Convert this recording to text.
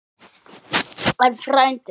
En, frændi